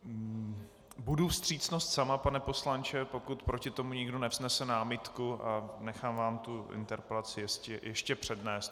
Budu vstřícnost sama, pane poslanče, pokud proti tomu nikdo nevznese námitku, a nechám vám tu interpelaci ještě přednést.